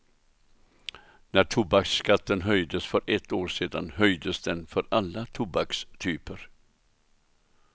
När tobaksskatten höjdes för ett år sedan höjdes den för alla tobakstyper.